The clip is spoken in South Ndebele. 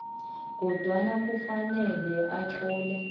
kodwana kufanele utlole